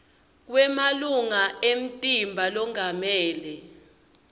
kwemalunga emtimba longamele